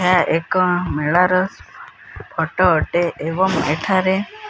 ଏହା ଏକ ମେଳର ଫଟୋ ଅଟେ ଏଵଂ ଏଠାରେ।